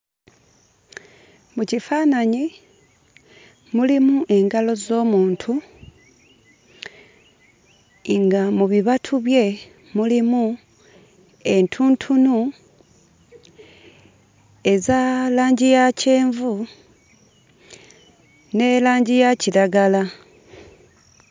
Mu kifaananyi mulimu engalo z'omuntu nga mu bibatu bye mulimu entuntunu eza langi ya kyenvu ne langi ya kiragala.